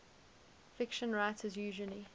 fiction writers usually